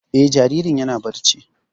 Eh, jaririn yana barci